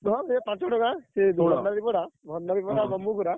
ହଁ ସେ ପାଞ୍ଚ ଖଣ୍ଡ ଗାଁ। ସେ ଭଣ୍ଡାରିପଡା ଭଣ୍ଡାରିପଡା ।